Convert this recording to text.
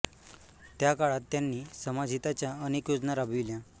त्या काळात त्यांनी समाज हिताच्या अनेक योजना राबविल्या